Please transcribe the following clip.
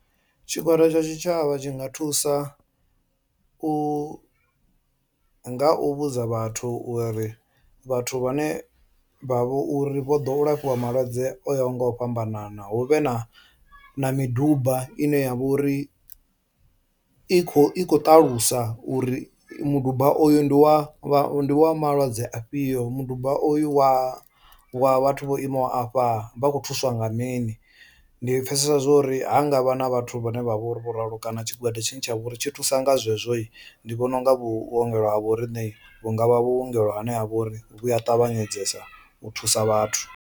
Tshigwada tsha tshitshavha tshi nga thusa u nga u vhudza vhathu uri vhathu vhane vha vha uri vho ḓo u lafhiwa malwadze o yaho nga u fhambanana hu vhe na na miduba ine ya vha uri i kho i khou ṱalusa uri muduba oyu ndi wa wa wa malwadze afhio, muduba oyu wa wa vhathu vho imaho afha vha khou thuswa nga mini. Ndi pfhesesa zwo uri ha nga vha na vhathu vhane vha vhori vho ralo kana tshigwada tshine tsha vha uri tshi thusa nga zwezwohi ndi vhona unga vhuongelo ha vho riṋe vhu nga vha vhuongelo hane ha vha uri vhu a ṱavhanyedzesa u thusa vhathu.